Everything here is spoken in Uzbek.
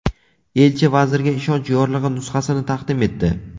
Elchi vazirga ishonch yorlig‘i nusxasini taqdim etdi.